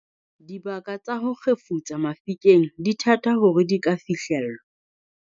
Dibaka tsa ho kgefutsa mafikeng di thata hore di ka fihlellwa.